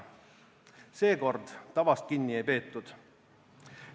Seekord tavast kinni ei peetud.